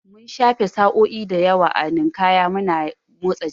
Mun shafe sa'o'i da yawa a Ninkaya muna motsa jiki